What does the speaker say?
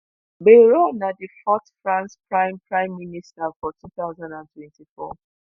bayrou na di fourth france prime prime minister for two thousand and twenty-four